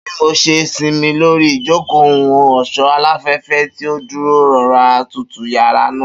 Bi mo ṣe sinmi lori ijoko ohun-ọṣọ, alafẹfẹ ti o duro rọra tutu yara naa.